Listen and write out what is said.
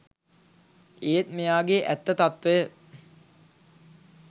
ඒත් මෙයාගේ ඇත්ත තත්වය